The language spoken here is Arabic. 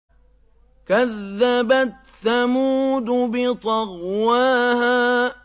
كَذَّبَتْ ثَمُودُ بِطَغْوَاهَا